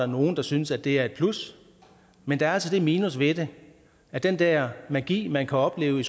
nogle der synes at det er et plus men der er altså det minus ved det at den der magi man kan opleve i